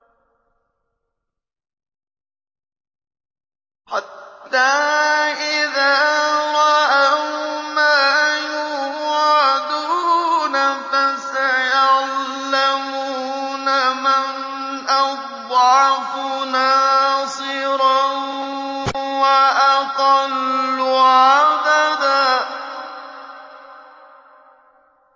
حَتَّىٰ إِذَا رَأَوْا مَا يُوعَدُونَ فَسَيَعْلَمُونَ مَنْ أَضْعَفُ نَاصِرًا وَأَقَلُّ عَدَدًا